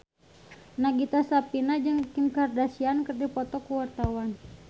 Nagita Slavina jeung Kim Kardashian keur dipoto ku wartawan